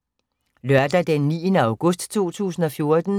Lørdag d. 9. august 2014